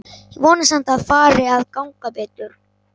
Ég vona samt að fari að ganga betur.